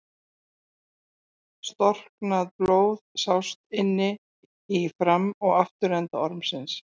Storknað blóð sást inni í fram- og afturenda ormsins.